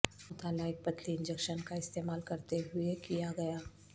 مطالعہ ایک پتلی انجکشن کا استعمال کرتے ہوئے کیا گیا